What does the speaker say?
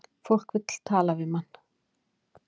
Fólk vill tala við mann